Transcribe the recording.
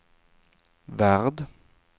värld